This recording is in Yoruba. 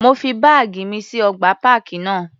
Mo fi báàgì mi sí ọgbà páàkì náà.